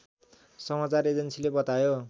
समाचार एजेन्सीले बतायो